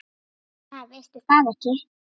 Ha, veistu það ekki?